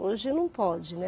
Hoje, não pode, né?